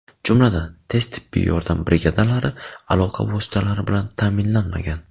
Jumladan, tez tibbiy yordam brigadalari aloqa vositalari bilan ta’minlanmagan.